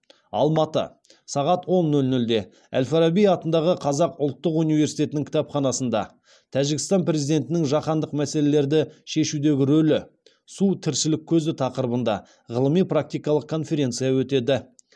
алматы сағат он нөл нөлде әл фараби атындағы қазақ ұлттық университетінің кітапханасында тәжікстан президентінің жаһандық мәселелерді шешудегі рөлі су тіршілік көзі тақырыбында ғылыми практикалық конференция өтеді